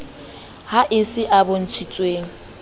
ha e se a bontshitsweng